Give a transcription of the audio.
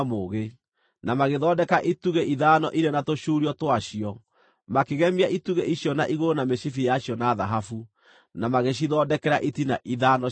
na magĩthondeka itugĩ ithano irĩ na tũcuurio twacio. Makĩgemia itugĩ icio na igũrũ na mĩcibi yacio na thahabu, na magĩcithondekera itina ithano cia gĩcango.